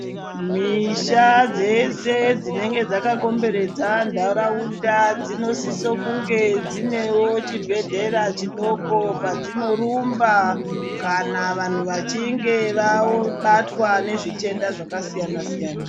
Misha dzese dzinenge dzakakomberedza nharaunda dzinosisa kunge dzine chibhedhlera chidoko kwadzinorumba kana vanhu vachinge vabatwa nezvitenda zvakasiyana siyana